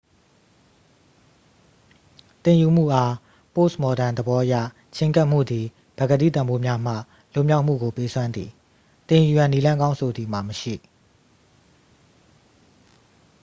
သင်ယူမှုအား ပို့စ်မော်ဒန်သဘောအရ ချဉ်းကပ်မှုသည် ပကတိတန်ဖိုးများမှ လွတ်မြောက်မှုကို ပေးစွမ်းသည် သင်ယူရန် နည်းလမ်းကောင်းဆိုသည်မှာ မရှိ